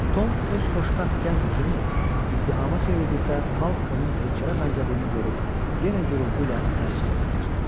Tom öz xoşbəxt gənc üzünü izdihama çevirdikdə xalq onun heykələ bənzədiyini görüb yenə yuyultu ilə əl çalmağa başladı.